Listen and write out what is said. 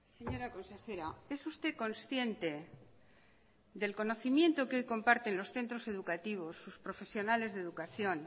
señora consejera es usted consciente del conocimiento que hoy comparten los centros educativos sus profesionales de educación